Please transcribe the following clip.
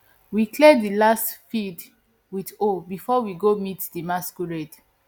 we clear di last field with hoe before we go meet di masquerade